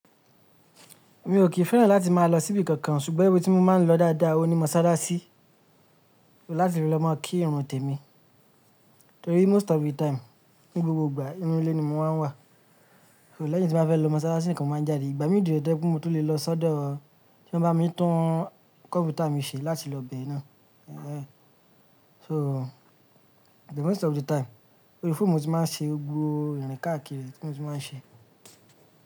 Mi ò kí fẹ́ràn láti máa lọ síbi kankan ṣùgbọ́n ibi tí mo máa ń lọ dáadáa ò ní mọ́sálásí láti lọ máa kí ìrun tèmi, torí most of the time ní gbogbo ìgbà inú ilé ni mo máa ń wà. Òó lẹ́yìn tí mo bá fẹ́ lọ mọ́sálásí nìkan mo máa ń jáde. Ìgbà mìíràn ò jẹ́ pé mo tó lè lọ sọ́dọ̀ ẹni tí ó bá mi tún kọ̀mpútà mi ṣe láti lọ bẹ́ẹ̀ náà. Sọ́ the most of the time orí fóòmù tí mo ti máa ń ṣe, gbogbo ìrìn káàkiri tí mo ti máa ń ṣe.